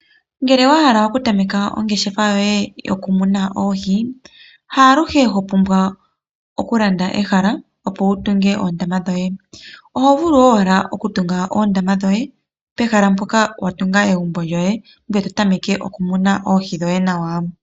Ngele owahala oku tameka ongeshefa yoye yoku muna oohi , haaluhe ho pumbwa okulanda ehala opo wutunge oondama dhoye , ohovulu owala okutunga oondama dhoye pehala mpoka watunga egumbo lyoye ngwee totameke okumuna oohi dhoye nawa.